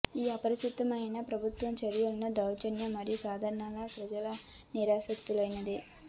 ఈ అప్రసిద్దమైనవి ప్రభుత్వ చర్యను దౌర్జన్యం మరియు సాధారణ ప్రజల నిరాశ లేవనెత్తింది